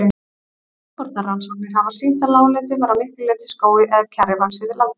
Frjókornarannsóknir hafa sýnt að láglendi var að miklu leyti skógi eða kjarri vaxið við landnám.